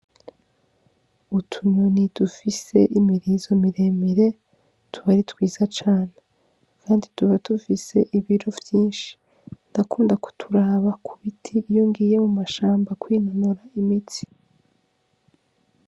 Utunyoni dufise imirizo mire mire tuba ari twiza cane kandi tuba dufise ibiro vyinshi ndakunda kuturaba ku biti iyo ngiye mu mashamba kwinonora imitsi.